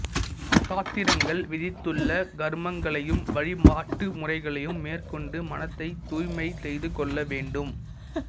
சாத்திரங்கள் விதித்துள்ள கர்மங்களையும் வழிபாட்டுமுறைகளையும் மேற்கொண்டு மனத்தை தூய்மை செய்து கொள்ள வேண்டும்